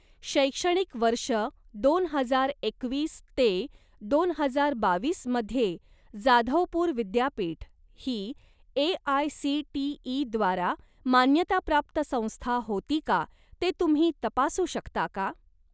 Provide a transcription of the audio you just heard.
शैक्षणिक वर्ष दोन हजार एकवीस ते दोन हजार बावीसमध्ये जाधवपूर विद्यापीठ ही ए.आय.सी.टी.ई.द्वारा मान्यताप्राप्त संस्था होती का ते तुम्ही तपासू शकता का?